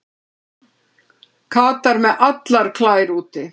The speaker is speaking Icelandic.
Katar með allar klær úti